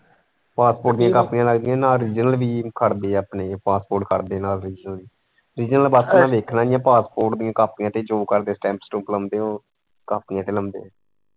pasport ਦੀਆਂ ਕਾਪੀਆਂ ਲੱਗਦੀਆਂ ਨਾਲ original ਵੀ ਖੜਦੇ ਹੈ ਆਪਣੇ passport ਖੜਦੇ ਨਾਲ original ਬਸ ਵੇਖਣਾ ਹੀ ਹੈ passport ਦੀਆਂ ਕਾਪੀਆਂ ਤੇ ਜੋ stamp stump ਲਾਉਂਦੇ ਉਹ ਕਾਪੀਆਂ ਤੇ ਲਾਉਂਦੇ।